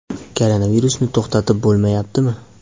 Koronavirusni to‘xtatib bo‘lmaydimi?